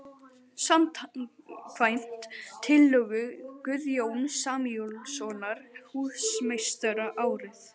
. samkvæmt tillögu Guðjóns Samúelssonar húsameistara árið